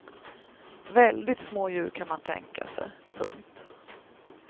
Väldigt små djur kan man tänka sig. punkt